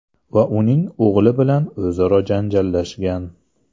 va uning o‘g‘li bilan o‘zaro janjallashgan.